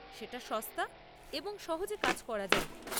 এটা সস্তা এবং সহজে কাজ করা যায়।